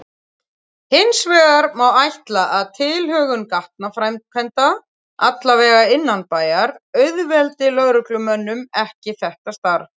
Hinsvegar má ætla að tilhögun gatnaframkvæmda, alla vega innanbæjar, auðveldi lögreglumönnum ekki þetta starf.